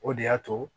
O de y'a to